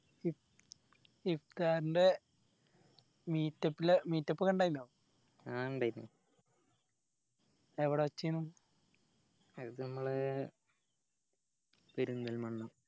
ഇക്കാന്റെ meet up ലെ meet up ഒക്കെ ഇണ്ടായിനൊ ആഹ് ഇണ്ടായിന് എവിടെ വെച്ചെനു അത് നമ്മളെ പെരിന്തൽമണ്ണ